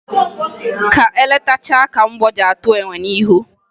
Ka e letachaa ka mgbọ ji atụ enwe n'ihu